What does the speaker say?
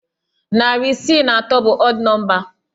Narị isii na atọ bụ ọd nọmba.